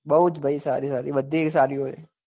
બઉ જ ભાઈ સારી સારી બધી સારી હોય